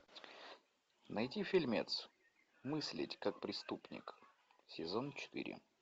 найти фильмец мыслить как преступник сезон четыре